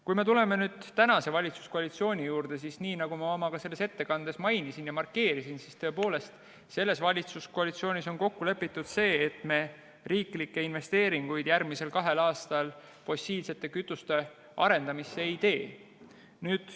Kui me tuleme nüüd tänase valitsuskoalitsiooni juurde, siis nii nagu ma oma ettekandes mainisin, tõepoolest, valitsuskoalitsioonis on kokku lepitud, et me riiklikke investeeringuid järgmisel kahel aastal fossiilsete kütuste arendamisse ei tee.